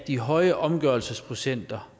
de høje omgørelsesprocenter